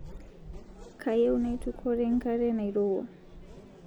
Kayieu naitukore ng'are nairewua